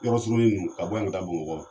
Yɔrɔ surunin ninnu ka bɔ yan ka taa Bamakɔ